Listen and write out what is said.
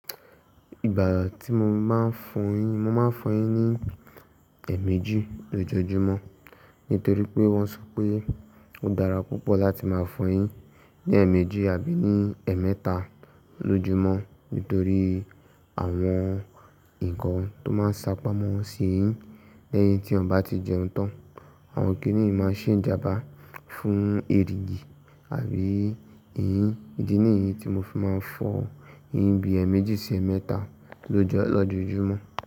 Ìgbà tí mo máa ń fọ eyín, mo máa ń fọ eyín ní èèmejì lójoojúmọ́ nítorí pé wọ́n sọ pé ó dára púpọ̀ láti máa fọ eyín ní èèmejì àbí ní èémẹ́ta lo'júmọ́ nítorí àwọn nǹkan tó máa ń sá pamọ́ sí eyín lẹ́yìn tí yan bá tí jẹun tán. Àwọn kìnnì n máa ṣé ìjàmbá fún erìgì àbí eyín. Ídí nìyí tí mo fi máa ń fọ eyín bí èèmejì sí èémẹ́ta lọ́jọ́, lọ́jọ́ ojúmọ́